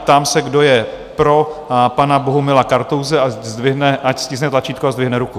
Ptám se, kdo je pro pana Bohumila Kartouse, ať stiskne tlačítko a zdvihne ruku.